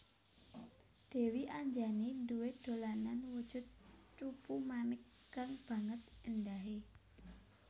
Dèwi Anjani duwé dolanan wujud cupu manik kang banget éndahé